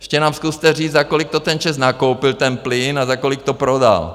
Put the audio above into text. Ještě nám zkuste říct, za kolik to ten ČEZ nakoupil, ten plyn, a za kolik to prodal.